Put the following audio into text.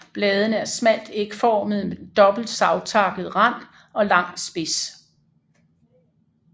Bladene er smalt ægformede med dobbelt savtakket rand og lang spids